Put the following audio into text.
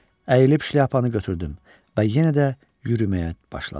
Əyilib şlyapanı götürdüm və yenə də yürüməyə başladım.